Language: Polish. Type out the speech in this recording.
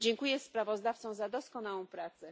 Dziękuję sprawozdawcom za doskonałą pracę.